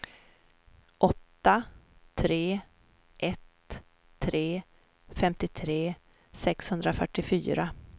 åtta tre ett tre femtiotre sexhundrafyrtiofyra